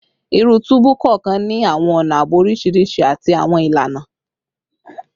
Iru tubu kọọkan ni awọn ọna aabo oriṣiriṣi ati awọn ilana